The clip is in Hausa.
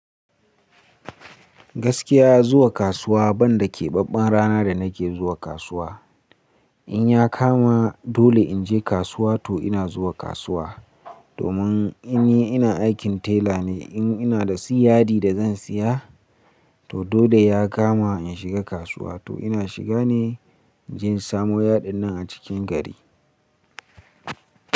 Gaskiya zuwa kasuwa banda keɓaɓɓen rana da nake zuwa kasuwa. In ya kama dole in je kasuwa to ina zuwa kasuwa. Domin in yi ina aikin tela ne, in ina da siyadi da zan siya to dole ya kama in shiga kasuwa to ina shiga ne. In je in samo yadin nan a cikin gari.